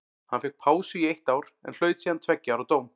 Hann fékk pásu í eitt ár en hlaut síðan tveggja ára dóm.